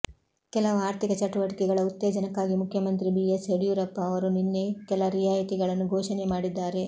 ಕೆಲವು ಆರ್ಥಿಕ ಚಟುವಟಿಕೆಗಳ ಉತ್ತೇಜನಕ್ಕಾಗಿ ಮುಖ್ಯಮಂತ್ರಿ ಬಿಎಸ್ ಯಡಿಯೂರಪ್ಪ ಅವರು ನಿನ್ನೆ ಕೆಲ ರಿಯಾಯಿತಿಗಳನ್ನು ಘೋಷಣೆ ಮಾಡಿದ್ದಾರೆ